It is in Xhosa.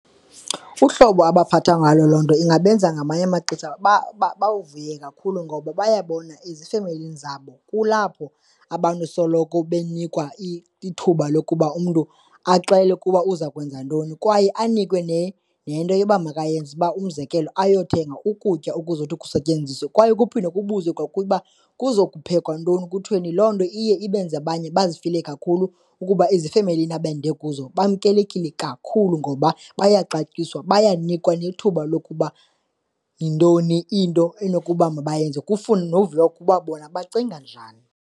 Uhlobo abaphathwa ngalo loo nto ingabenza ngamanye amaxesha bawuvuye kakhulu ngoba bayabona ezifemelini zabo kulapho abantu soloko benikwa ithuba lokuba umntu axele ukuba uza kwenza ntoni kwaye anikwe nento yoba makayenze uba umzekelo, ayothenga ukutya okuzawuthi kusetyenziswe kwaye kuphinde kubuzwe kwakuye uba kuza kuphekwa ntoni kuthweni. Loo nto iye ibenze abanye bazifile kakhulu ukuba ezifemelini abende kuzo bamkelekile kakhulu ngoba bayaxatyiswa, bayanikwa nethuba lokuba yintoni into enokuba mabayenze kufune noviwa ukuba bona bacinga njani.